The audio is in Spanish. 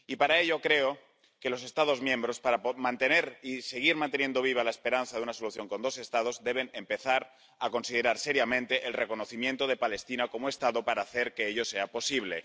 Y para ello creo que los Estados miembros, para mantener y seguir manteniendo viva la esperanza de una solución con dos Estados, deben empezar a considerar seriamente el reconocimiento de Palestina como Estado para hacer que ello sea posible.